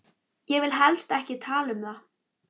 Ég vil helst ekki tala um það.